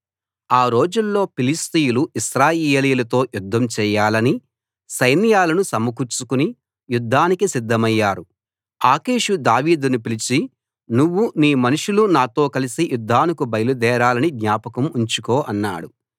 ఆ రోజుల్లో ఫిలిష్తీయులు ఇశ్రాయేలీయులతో యుద్ధం చేయాలని సైన్యాలను సమకూర్చుకుని యుద్ధానికి సిద్ధమయ్యారు ఆకీషు దావీదును పిలిచి నువ్వు నీ మనుషులు నాతో కలసి యుద్ధానికి బయలుదేరాలని జ్ఞాపకం ఉంచుకో అన్నాడు